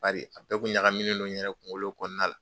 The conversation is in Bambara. Bari a bɛɛ kun ɲagaminen do n yɛrɛ kungolo kɔnɔna la.